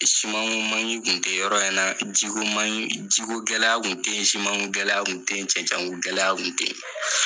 Siman ko manki kun tɛ yɔrɔ in na ji ko manki ki ko gɛlɛya kun tɛ ye siman ko gɛlɛya kun tɛ ye cɛnɛnɛn ko gɛlɛya kun tɛ ye.